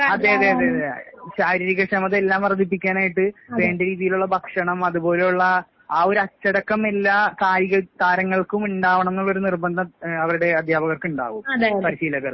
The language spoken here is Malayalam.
അതെ, അതെ, അതെ, അതെ. ശാരീരികക്ഷമത എല്ലാം വർദ്ധിപ്പിക്കാനായിട്ട് വേണ്ട രീതിയിലുള്ള ഭക്ഷണം അതുപോലെയുള്ള ആ ഒരു അച്ചടക്കം എല്ലാ കായിക താരങ്ങൾക്കും ഇണ്ടാവണംന്നുള്ള ഒരു നിർബന്ധം ഏഹ് അവരുടെ അധ്യാപകർക്ക് ഇണ്ടാവും, പരിശീലകർക്കും.